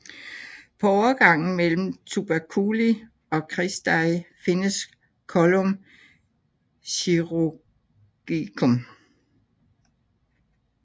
På overgangen mellem tuberculi og cristae findes collum chirurgicum